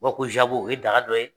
U b'a fɔ ko o ye daga dɔ ye.